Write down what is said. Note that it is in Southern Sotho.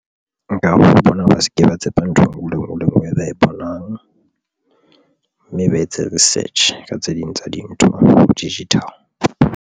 Nkare ho bona ba se ke, ba tshepa ntho enngwe le enngwe e ba e bonang mme ba etse research ka tse ding tsa dintho digital.